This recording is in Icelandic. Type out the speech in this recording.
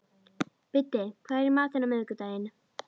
Biddi, hvað er í matinn á miðvikudaginn?